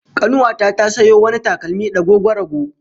Kanuwa ta ta sayo wani takalmi dagogwarago